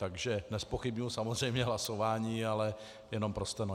Takže nezpochybňuji samozřejmě hlasování, ale jenom pro steno.